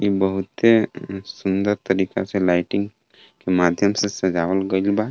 ई बहुते ऊं सुंदर तरीका से लाइटिंग के माध्यम से सजावल गइल बा.